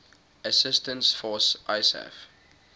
assistance force isaf